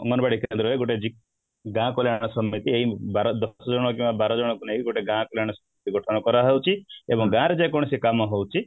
ଅଙ୍ଗନବାଡି କେନ୍ଦ୍ର ରେ ଗୋଟେ ଯାହାକୁ ଏଇ ଦଶ ଜଣ କିମ୍ବା ବାର ଜଣଙ୍କୁ ନେଇ ଗୋଟେ ଗାଁ ସେମାନେ ସୃଷ୍ଟି କରାହଉଛି ଏବଂ ଗାଁ ରେ ଯେକୌଣସି କାମ ହଉଛି